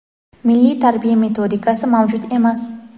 Milliy tarbiya metodikasi mavjud emas.